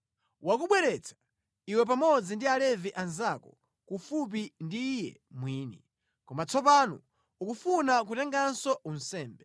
Wakubweretsa iwe pamodzi ndi Alevi anzako kufupi ndi Iye mwini. Koma tsopano ukufuna kutenganso unsembe.